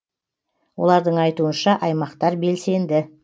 олардың айтуынша аймақтар белсенді